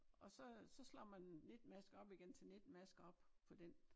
Og så så slår man 19 masker op igen til 19 masker op på den